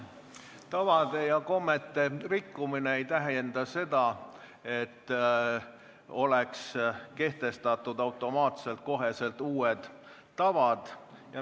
Tavade ja kommete rikkumine ei tähenda seda, et oleks kehtestatud automaatselt uued tavad.